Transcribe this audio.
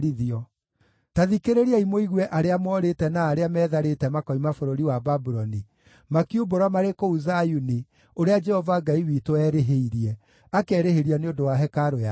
Ta thikĩrĩriai mũigue arĩa moorĩte na arĩa metharĩte makoima bũrũri wa Babuloni, makiumbũra marĩ kũu Zayuni ũrĩa Jehova Ngai witũ erĩhĩirie, akerĩhĩria nĩ ũndũ wa hekarũ yake.